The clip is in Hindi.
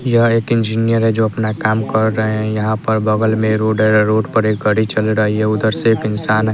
यह एक इंजीनियर है जो अपना काम कर रहे हैं यहां पर बगल में रोड है रोड पर गाड़ी चल रही है उधर से एक इंसान--